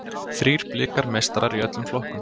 Þrír Blikar meistarar í öllum flokkum